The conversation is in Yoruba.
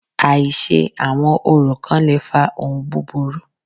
Àìṣe àwọn orò kán le fa ohun búburú.